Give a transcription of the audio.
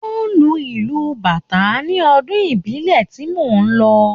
Wọ́n lu ìlù Bàtá ní ọdún ìbílẹ̀ tí mo lọ